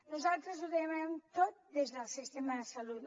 nosaltres ho donem tot des del sistema de salut